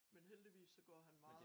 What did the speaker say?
Men heldigvis så går han meget